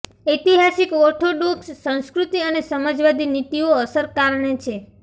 ઐતિહાસિક ઓર્થોડોક્સ સંસ્કૃતિ અને સમાજવાદી નીતિઓ અસર કારણે છે